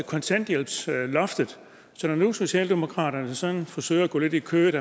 kontanthjælpsloftet så når nu socialdemokratiet forsøger at gå lidt i kødet